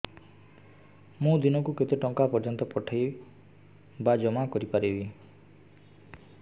ମୁ ଦିନକୁ କେତେ ଟଙ୍କା ପର୍ଯ୍ୟନ୍ତ ପଠେଇ ବା ଜମା କରି ପାରିବି